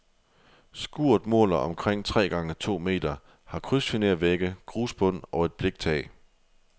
Skuret måler omkring tre gange to meter, har krydsfinervægge, grusbund og et bliktag.